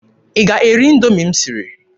Ị ga-eri Indoomi m siri?